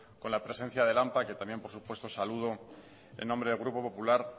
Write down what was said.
con la presencia del ampa que también por supuesto saludo en nombre del grupo popular